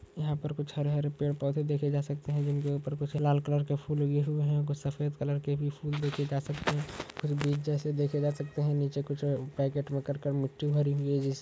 यहां पर कुछ हरे-हरे पेड़ पौधे देखे जा सकते हैं जिनके ऊपर कुछ लाल कलर के फूल लगे हुए हैं। कुछ सफेद कलर के भी फूल देखे जा सकते हैं और बीज जैसे देखे जा सकते हैं। नीचे कुछ पैकेट में कर कर मिट्टी भरी हुई है।